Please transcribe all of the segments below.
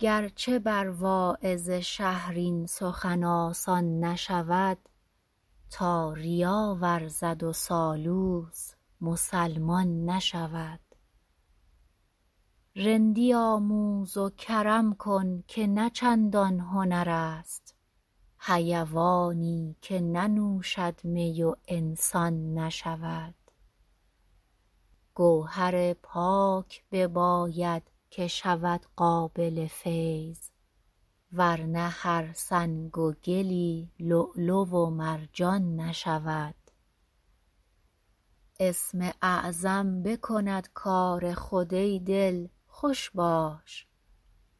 گر چه بر واعظ شهر این سخن آسان نشود تا ریا ورزد و سالوس مسلمان نشود رندی آموز و کرم کن که نه چندان هنر است حیوانی که ننوشد می و انسان نشود گوهر پاک بباید که شود قابل فیض ور نه هر سنگ و گلی لؤلؤ و مرجان نشود اسم اعظم بکند کار خود ای دل خوش باش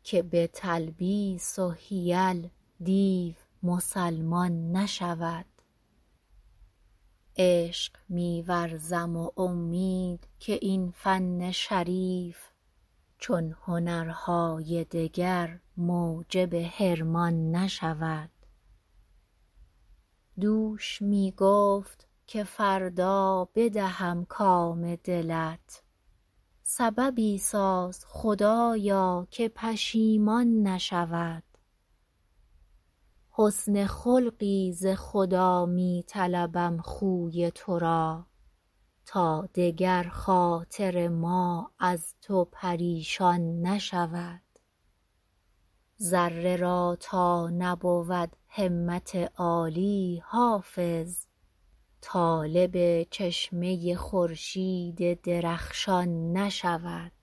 که به تلبیس و حیل دیو مسلمان نشود عشق می ورزم و امید که این فن شریف چون هنرهای دگر موجب حرمان نشود دوش می گفت که فردا بدهم کام دلت سببی ساز خدایا که پشیمان نشود حسن خلقی ز خدا می طلبم خوی تو را تا دگر خاطر ما از تو پریشان نشود ذره را تا نبود همت عالی حافظ طالب چشمه خورشید درخشان نشود